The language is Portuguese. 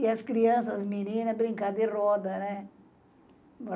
E as crianças, as meninas, brincavam de roda, né?